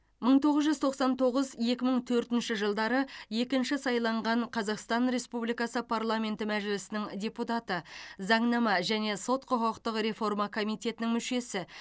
мың тоғыз жүз тоқсан тоғыз екі мың төртінші жылдары екінші сайланған қазақстан республикасы парламенті мәжілісінің депутаты заңнама және сот құқықтық реформа комитетінің мүшесі